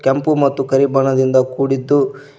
ಕೆಂಪು ಮತ್ತು ಕರಿ ಬಣ್ಣದಿಂದ ಕೂಡಿದ್ದು--